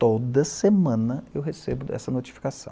Toda semana eu recebo essa notificação.